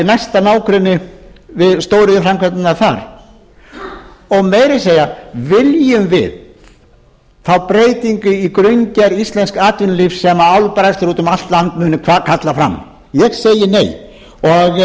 næsta nágrenni við stóriðjuframkvæmdirnar þar meira að segja viljum við fá breytingu í grunngerð íslensks atvinnulífs sem álbræðslur út um allt land munu kalla fram ég segi